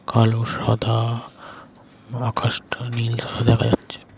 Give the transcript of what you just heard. কালো সাদা ম আকাশটা নীল দেখা যাচ্ছে।